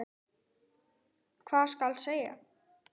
Hvað skal segja?